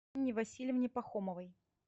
инне васильевне пахомовой